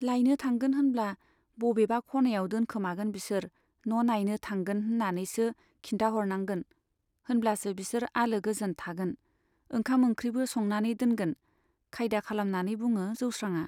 लायनो थांगोन होनब्ला बबेबा खनायाव दोनखोमागोन बिसोर, न' नाइनो थांगोन होन्नानैसो खिन्थाहरनांगोन, होनब्लासो बिसोर आलो गोजोन थागोन, ओंखाम ओंख्रिबो संनानै दोनगोन, खायदा खालामनानै बुङो जौस्रांआ।